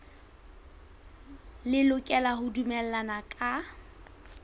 le lokela ho dumellana ka